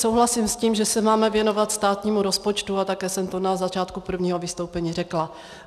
Souhlasím s tím, že se máme věnovat státnímu rozpočtu, a také jsem to na začátku prvního vystoupení řekla.